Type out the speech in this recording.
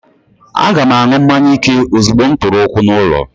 Aga m aṅụ mmanya ike ozugbo m tụrụ ụkwụ n'ulo